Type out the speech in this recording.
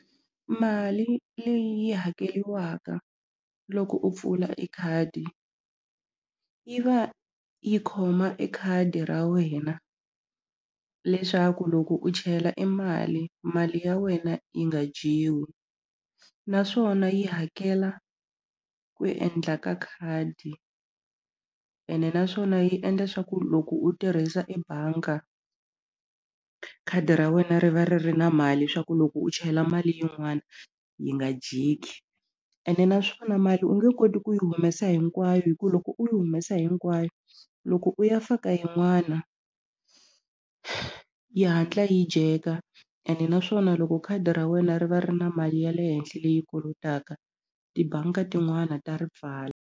Mali leyi yi hakeliwaka loko u pfula e khadi yi va yi khoma e khadi ra wena leswaku loko u chela e mali mali ya wena yi nga dyiwi naswona yi hakela ku endla ka khadi ene naswona yi endla swa ku loko u tirhisa ebanga khadi ra wena ri va ri ri na mali swa ku loko u chela mali yin'wani yi nga dyeki ene naswona mali u nge koti ku yi humesa hinkwayo hi ku loko u yi humesa hinkwayo loko u ya faka yin'wana yi hatla yi dyeka ene naswona loko khadi ra wena ri va ri na mali ya le henhla leyi kolotaka tibangi ka tin'wana ta ri pfala.